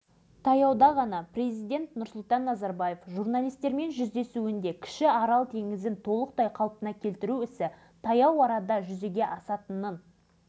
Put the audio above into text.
ол арман да орындалды су күннен-күнге көбейе берді көбейе берді бөгетті мықтап қайта салу қажеттігін бәрі